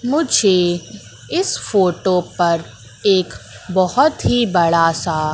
मुझे इस फोटो पर एक बहोत ही बड़ा सा--